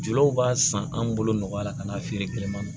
Jeliw b'a san anw bolo nɔgɔya la ka n'a feere kilema